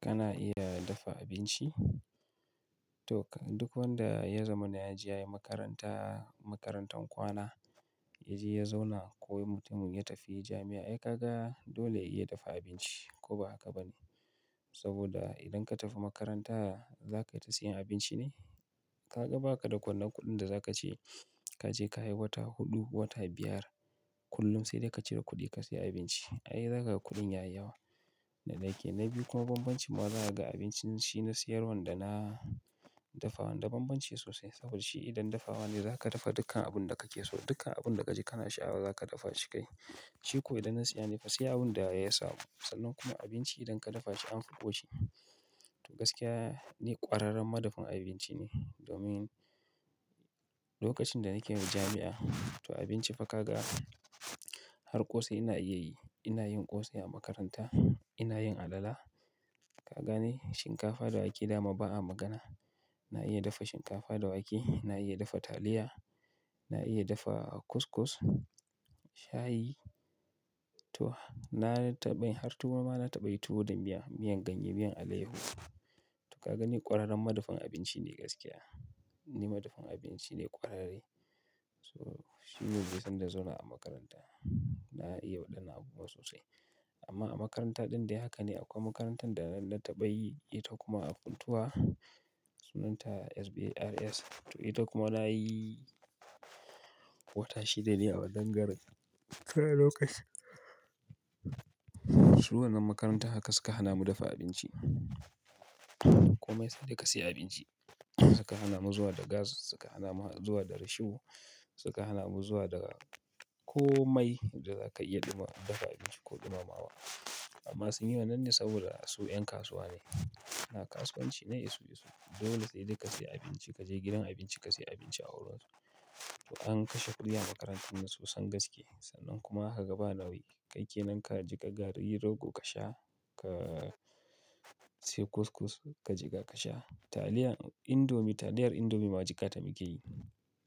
Kana iya dafa abinci? To duk wanda ya zamana ya je ya yi makaranta, makarantan kwana ya je ya zauna ko mutumin ya tafi jami'a, ai ka ga dole ya iya dafa abinci ko ba haka ba ne? Saboda idan ka tafi makaranta za ka yi ta siyan abinci ne? Ka ga ba ka da ƙwallan kuɗin da za ka ce ka je ka yi wata huɗu, wata biyar kullum sai da ka cire kuɗi ka saya abinci. Ai za ka ga kuɗin ya yi yawa da daƙe. Na biyu kuma bambancin ma zaka ga abincin shi na siyarwan da na dafawan da bambanci sosai. Saboda shi idan dafawa ne za ka dafa dukkan abun da kake so, dukkan abun da ka ji kana sha'awa za ka dafa shi kai. Shi ko idan na saya ne fa sai abun da ya samu sannan kuma abinci idan ka dafashi anfi koshiya to gaskiya ni ƙwararren madafun abinci ne. Domin lokacin da nake jami'a, to abinci fa ka ga har ƙosai ina iya yi. Ina yin ƙosai a makaranta, ina yin alala. Ka gane shinkafa da wake dama ba a magana. Na iya dafa shinkafa da wake, na iya dafa taliya, na iya dafa kus-kus, shayi. To na tabayi har tuwo ma na taɓa yi tuwo da miya, miyan ganye, miyan aleyaho. To ka ga ni ƙwararren madafun abinci ne gaskiya. Ni madafun abinci ne ƙwararre. To shi ne dai sanda na zanna a makaranta na iya wadannan sosai amma a makaranta din dai haka dai akwai makarantan da na taba yi ita kuma a funtua sunnan ta SBRS to ita kuma na yi wata shida ne a wannan garin. Su wannan makarantan haka suka hana mu dafa abinci. Komai sai da ka siya abinci. Suka hana mu zuwa da gas, suka hana mu zuwa da risho, suka hana mu zuwa da komai da za ka iya ɗuma dafa abinci ko ɗumamawa. Amma sun yi wannan ne saboda su 'yan kasuwa ne. Suna kasuwanci na isu-esu. Dole sai da ka siya abinci, ka je gidan abinci ka siya abinci a wurin su. To an kashe kuɗi a makarantar nan sosan gaske. Sannan kuma kaga ba nauyi. Kai kenan ka jiƙa garri rogo ka sha, ka sai kus-kus ka jiga ka sha. Taliya indomi, taliyar indomi ma jikata muke yi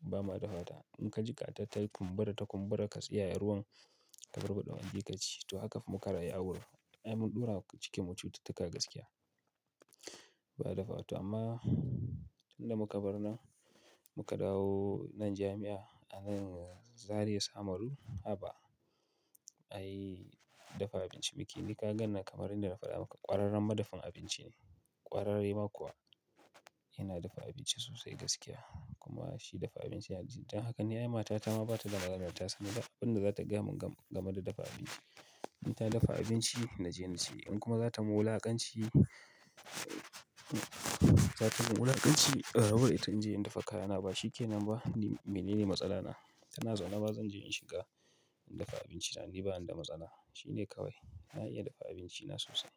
ba ma dafata. In ka jiƙa ta ta kumbura ta kumbura ka tsayaye ruwan, ka barbada magi ka ci. To haka fa muka rayu a wurin. Ai mun ɗurawa cikinmu cututuka gaskiya. Ba a dafawa to amma tun da muka bar nan muka dawo nan jami'a a nan Zaria Samaru haba ai dafa abinci muke. Ni ka ganni kamarin da na faɗa maka ƙwararren madafun abinci ne. Ƙwararre ma kuwa ina dafa abinci sosai gaskiya. Kuma shi dafa abinci yana jin don haka ni ai matata ma lllma ba ta da maganar ta san ba abin da za ta gaya mun game da dafa abinci. In ta dafa abinci na je na ci. In kuma zata mun wulakancu ne ta ki ta min abunci in rabu da ita in je in dafa kayana ba shikenan ba. Ni menene matsala na? Tana zaune ma zan je in shiga in dafa abinci na. Ni bani da matsala. Shi ne kawai. Na iya dafa abinci na sosai.